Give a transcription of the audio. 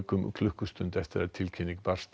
um klukkustund eftir að tilkynning barst